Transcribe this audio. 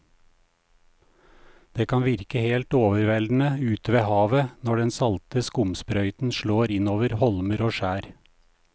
Det kan virke helt overveldende ute ved havet når den salte skumsprøyten slår innover holmer og skjær.